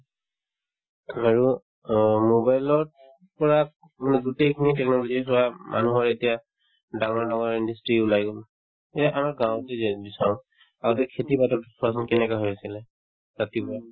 অ mobile ত পৰা মানে গোটেইখিনি technology চোৱা উম মানুহৰ এতিয়া ডাঙৰ ডাঙৰ industry ওলাই গল যে আমাৰ গাঁৱতে যে যদি চাওঁ আগতে খেতি পথাৰত কেনেকুৱা হৈ আছিলে ৰাতিপুৱা